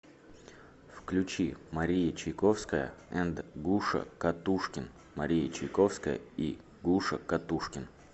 включи мария чайковская энд гуша катушкин мария чайковская и гуша катушкин